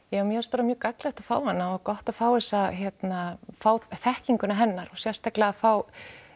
ja mér fannst bara mjög gagnlegt að fá hana og gott að fá þessa hérna fá þekkinguna hennar og sérstaklega að fá